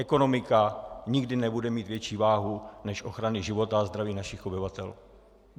Ekonomika nikdy nebude mít větší váhu než ochrany života a zdraví našich obyvatel.